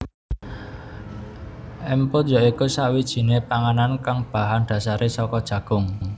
Emput ya iku sakwijiné panganan kang bahan dasaré saka jagung